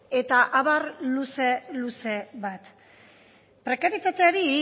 eta abar luze luze bat prekarietateari